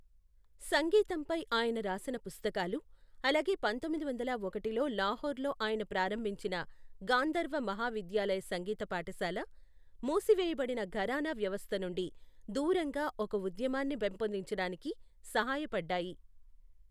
సంగీతంపై ఆయన రాసిన పుస్తకాలు, అలాగే పంతొమ్మిది వందల ఒకటిలో లాహోర్లో ఆయన ప్రారంభించిన గాంధర్వ మహావిద్యాలయ సంగీత పాఠశాల, మూసివేయబడిన ఘరానా వ్యవస్థ నుండి దూరంగా ఒక ఉద్యమాన్ని పెంపొందించడానికి సహాయపడ్డాయి.